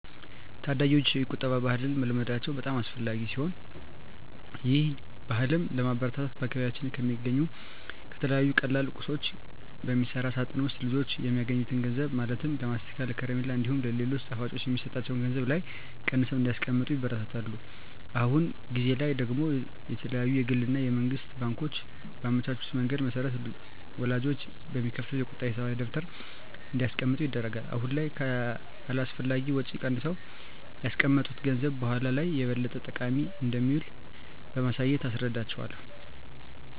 ታዳጊወች የቁጠባ ባህልን መልመዳቸው በጣም አስፈላጊ ሲሆን ይህን ባህልም ለማበረታታት በአካባቢያችን በሚገኙ ከተለያዩ ቀላል ቁሳቁሶች በሚሰራ ሳጥን ውስጥ ልጆች የሚያገኙትን ገንዘብ ማለትም ለማስቲካ፣ ከረሜላ እንዲሁም ሌሎች ጣፋጮች የሚሰጣቸው ገንዘብ ላይ ቀንሰው እንዲያስቀምጡ ይበረታታሉ። አሁን ጊዜ ላይ ደግሞ የተለያዩ የግል እና የመንግስት ባንኮች ባመቻቹት መንገድ መሰረት ወላጆች በሚከፍቱት የቁጠባ ሂሳብ ደብተር እንዲያስቀምጡ ይደረጋል። አሁን ላይ ከአላስፈላጊ ወጪ ቀንሰው ያስቀመጡት ገንዘብ በኃላ ላይ ለበለጠ ጠቃሚ ነገር እንደሚውል በማሳየት እናስረዳቸዋለን።